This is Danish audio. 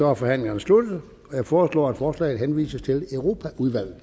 er forhandlingerne sluttet jeg foreslår at forslaget henvises til europaudvalget